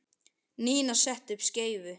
Nína setti upp skeifu.